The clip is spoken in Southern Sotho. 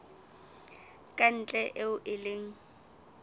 ka ntle eo e leng